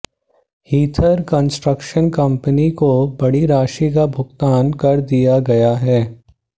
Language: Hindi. हीथर कंस्ट्रक्शन कंपनी को बड़ी राशि का भुगतान कर दिया गया है